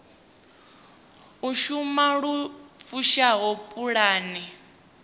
u shumisa lu fushaho pulane